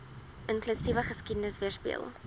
inklusiewe geskiedenis weerspieël